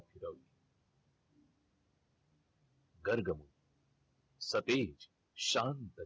गर्गमुनी सतेज, शांत